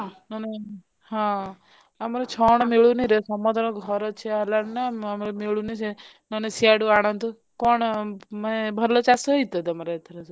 ହଁ ଆମର ଛଣ ମିଳୁନି ରେ ସମସ୍ତଙ୍କର ଘର ଛିଆ ହେଲାଣି ନା ଆମର ମିଲୂନି ସେ ମାନେ ସିଆଡେ ଆଣନ୍ତୁ କଣ ମାନେ ଭଲ ଚାଷ ହେଇଛି ତ ତମର ଏଥର ସବୁ?